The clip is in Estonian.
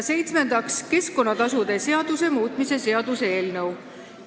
Seitsmendaks, keskkonnatasude seaduse muutmise seaduse eelnõu.